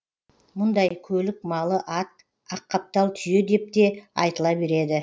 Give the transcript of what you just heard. мұндай көлік малы ат аққаптал түйе деп те айтыла береді